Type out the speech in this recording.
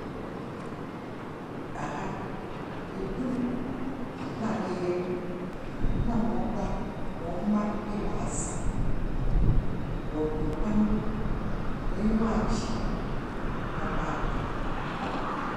Aha ɛkunu na ne yere na wɔn mma ɛbaasa. Wɔ gu mpa no do, wɔ ani wa agye papaapa.